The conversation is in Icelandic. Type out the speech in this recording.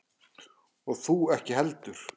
Og þú ekki heldur.